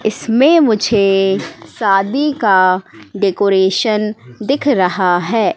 इसमें मुझे शादी का डेकोरेशन दिख रहा है।